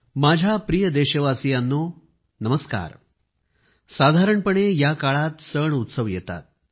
माझ्या प्रिय देशवासियांनो नमस्कार साधारणपणे या काळात सणउत्सव येतात